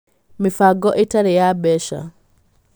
Mĩbango ĩtarĩ ya mbeca: